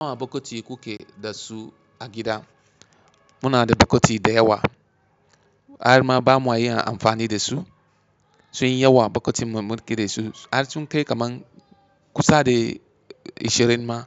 Nawa bokiti kuke da su a gida. Muna da bokiti da yawa. Har ma ba mu iya amfani da su. Sunyi yawa bokotin mu mulki da su. Har sun kai kaman kusa de ashirin ma